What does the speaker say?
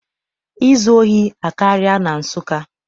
Izu ohi akarịala na Nsụka.